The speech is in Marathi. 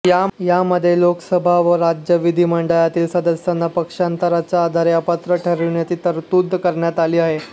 यामध्ये लोकसभा व राज्य विधीमंडळातील सदस्यांना पक्षांतराच्या आधारे अपात्र ठरविण्याची तरतूद करण्यात आली आहे